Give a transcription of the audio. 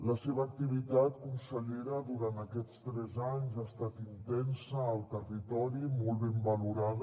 la seva activitat consellera durant aquests tres anys ha estat intensa al territori i molt ben valorada